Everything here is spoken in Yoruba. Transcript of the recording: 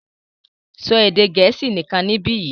so Èdè Gẹ̀ẹ́sì nìkàn nibiyi!